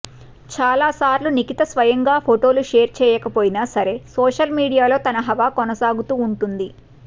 చాలాసార్లు నిఖిత స్వయంగా ఫోటోలు షేర్ చేయకపోయినా సరే సోషల్ మీడియాలో తన హవా కొనసాగుతూ ఉంటుంది